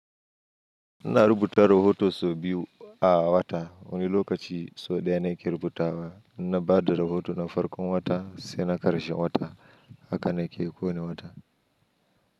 Ina rubuta rohoto sau biyu a wata. Wani lokaci sau ɗaya na ke rubutawa, ina bada rohoto na farkon wata sai na ƙarshe wata. Haka na ke kowane wata.